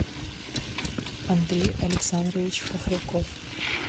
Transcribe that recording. андрей александрович хохряков